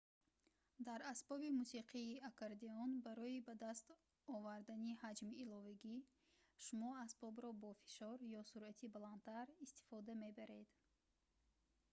дар асбоби мусиқии аккордеон барои ба даст овардани ҳаҷми иловагӣ шумо асбобро бо фишор ё суръати баландтар истифода мебаред